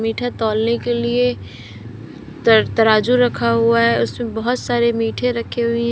मीठा तौलने के लिए तराजू रखा हुआ है उसमें बहोत सारे मीठे रखे हुए हैं।